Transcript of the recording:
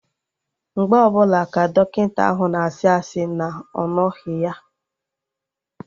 Mgbe ọbụla ka Dọkịta ahụ na-asị asị na ọ nọghị ya